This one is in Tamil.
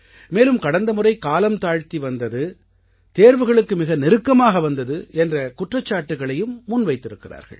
மேலும் கடந்த முறை காலம் தாழ்த்தி வந்தது தேர்வுகளுக்கு மிக நெருக்கமாக வந்தது என்ற குற்றச்சாட்டுக்களையும் முன்வைத்திருக்கிறார்கள்